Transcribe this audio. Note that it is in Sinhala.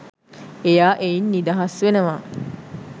එයා එයින් නිදහස් වෙනවා.